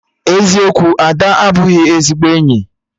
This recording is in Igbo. Eziokwu, Ada abụghị ezigbo enyi